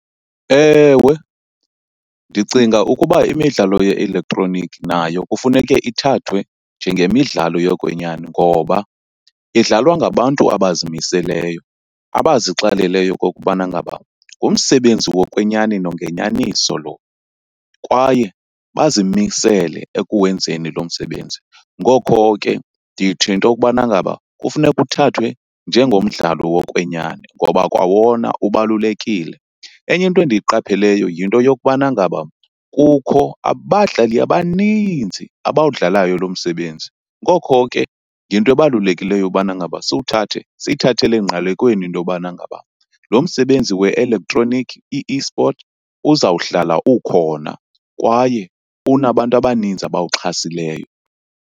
Ewe, ndicinga ukuba imidlalo ye-elektroniki nayo kufuneke ithathwe njengemidlalo yokwenyani. Ngoba idlalwa ngabantu abazimiseleyo, abazixeleleyo ukubana ngaba ngumsebenzi wokwenyani nongenyaniso lo, kwaye bazimisele ekuwenzeni lo msebenzi. Ngokho ke ndithi into okubana ngaba kufuneka uthathwe njengomdlalo wokwenyani ngoba kwawona ubalulekile. Enye into endiyiqapheleyo yinto yokubana ngaba kukho abadlali abaninzi abawudlalayo lo msebenzi, ngokho ke yinto ebalulekileyo ubana ngaba siwuthathe, siyithathele engqalekweni into yobana ngaba lo msebenzi we-elektroniki i-eSport uzawuhlala ukhona kwaye unabantu abaninzi abawuxhasileyo.